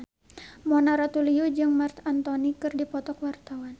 Mona Ratuliu jeung Marc Anthony keur dipoto ku wartawan